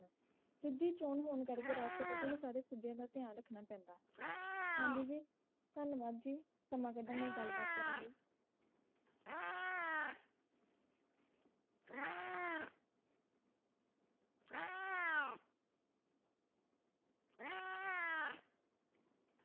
ਸਿਧਿ ਚੌਣ ਹੋਣ ਕਰਕੇ ਰਾਸ਼ਟਰਪਤੀ ਨੂੰ ਸਾਰੀਆਂ ਸੂਬਿਆਂ ਦਾ ਧਯਾਨ ਰੱਖਣਾ ਪੈਂਦਾ ਹਾਂਜੀ ਜੀ ਧੰਨਵਾਦ ਜੀ ਸਮਾਂ ਕਢਣ ਲਯੀ ਗੱਲ ਕਰਨ ਲਯੀ